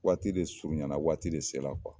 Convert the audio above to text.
Waati de surunya na waati de sera